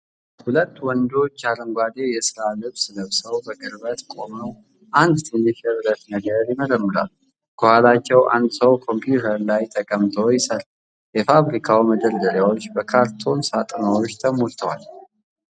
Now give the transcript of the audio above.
ሁለት ወንዶች አረንጓዴ የሥራ ልብስ ለብሰው በቅርበት ቆመው አንድ ትንሽ የብረት ነገር ይመረምራሉ። ከኋላቸው አንድ ሰው ኮምፒውተር ላይ ተቀምጦ ይሠራል። የፋብሪካው መደርደሪያዎች በካርቶን ሳጥኖች ተሞልተዋል።